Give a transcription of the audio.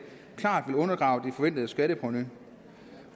klart vil undergrave det forventede skatteprovenu